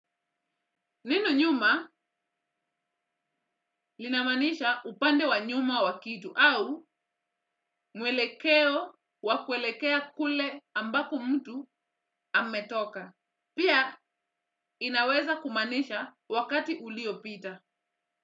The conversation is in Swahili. Neno nyuma linamaanisha upande wa nyuma wa kitu au mwelekeo wa kuelekea kule ambapo mtu ametoka. Pia inaweza kumaanisha wakati uliopita.